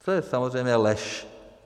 To je samozřejmě lež.